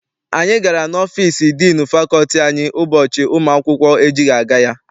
Anyị gara n'ọfịịsi diinu fakọlti anyị ụbọchị ụmụ akwụkwọ ejighị aga ya.